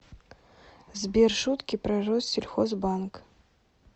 сбер шутки про россельхозбанк